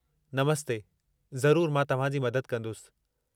नमस्ते, ज़रूरु मां तव्हां जी मदद कंदुसि।